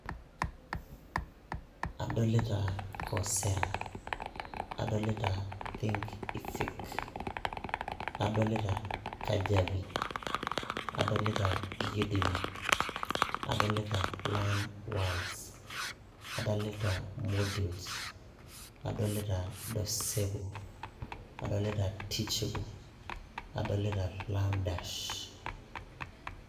kadolita coursera adoita thinkific adolita jabi adolita udemy adolita learnworlds adolita moodle adolita docebo adolita teachable adolita learn dash.